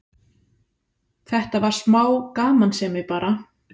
Þetta var smá gamansemi bara.